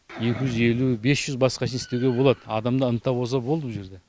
екі жүз елу бес жүзбасқа шейін істеуге болады адамда ынта болса болды бұл жерде